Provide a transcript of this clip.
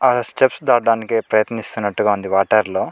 ఆ స్టెప్స్ దాటడానికి ప్రయత్నిస్తున్నట్టుగా ఉంది వాటర్లో --